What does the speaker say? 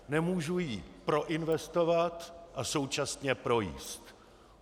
Nemůžu ji proinvestovat a současně projíst.